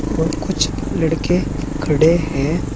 और कुछ लड़के खड़े हैं।